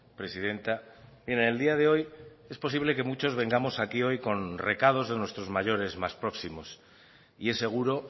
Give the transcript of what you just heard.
presidenta en el día de hoy es posible que muchos vengamos aquí hoy con recados de nuestros mayores más próximos y es seguro